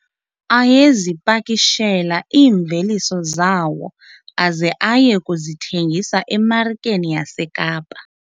Ayezipakishela iimveliso zawo aze aye kuzithengisa emarikeni yaseKapa.